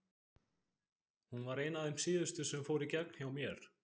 Hún var ein af þeim síðustu sem fóru í gegn hjá mér.